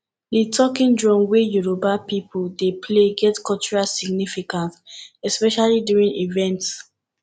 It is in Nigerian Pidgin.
di talking drum wey yoruba people dey play get cultural significance especially during events